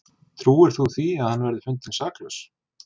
Trúir þú því að hann verði fundinn saklaus?